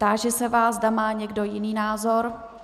Táži se vás, zda má někdo jiný názor.